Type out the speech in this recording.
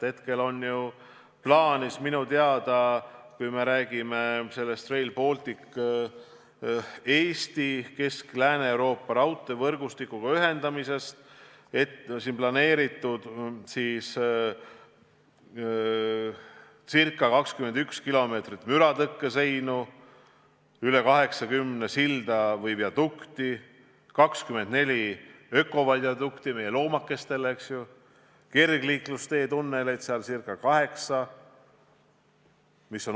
Kui räägime Rail Balticu kaudu Eesti ühendamisest Kesk- ja Lääne-Euroopa raudteevõrgustikuga, siis hetkel on minu teada plaanis rajada siia ca 21 kilomeetrit müratõkkeseinu, üle 80 silla või viadukti, 24 ökoviadukti meie loomakestele ja umbes 8 kergliiklustee tunnelit.